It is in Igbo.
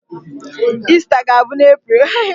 Ista ga-abụ n'April.